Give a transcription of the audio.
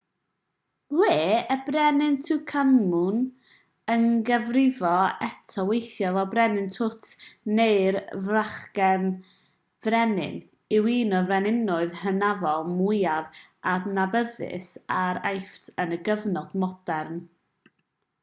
ie y brenin tutankhamun y cyfeirir ato weithiau fel brenin tut neu'r bachgen frenin yw un o frenhinoedd hynafol mwyaf adnabyddus yr aifft yn y cyfnod modern